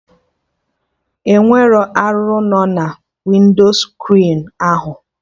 Enwere arụrụ no na winscrin ahụ